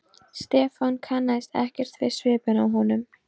Stefán kannaðist ekkert við svipinn á honum.